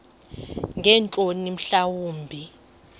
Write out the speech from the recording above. ngeentloni mhla wumbi